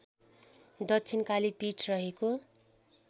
दक्षिणकाली पीठ रहेको